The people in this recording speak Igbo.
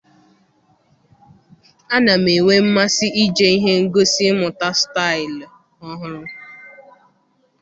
Ana m enwe mmasị ije ihe ngosi ịmụta staịlụ ọhụrụ.